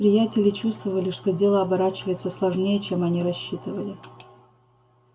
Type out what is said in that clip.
приятели чувствовали что дело оборачивается сложнее чем они рассчитывали